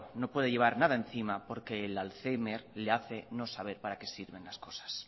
no puede llevar nada encima porque el alzhéimer le hace no saber para qué sirven las cosas